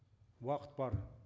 уақыт бар